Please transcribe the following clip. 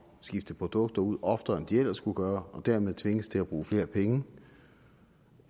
skifte produkter ud oftere end de ellers skulle gøre og dermed tvinges til at bruge flere penge